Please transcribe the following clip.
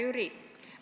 Hea Jüri!